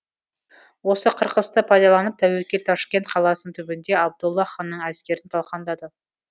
осы қырқысты пайдаланып тәуекел ташкент қаласының түбінде абдолла ханның әскерін талқандады